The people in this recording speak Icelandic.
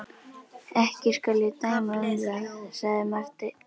Ekki skal ég dæma um það, sagði Marteinn.